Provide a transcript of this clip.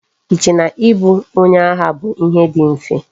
I che na I bu onye agha bu ihe di mfe?